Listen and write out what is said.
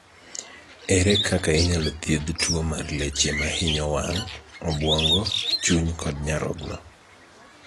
Ere kaka inyalo thiedh tuo mar leche mahinyo wang', obwongo, chuny kod nyarogno?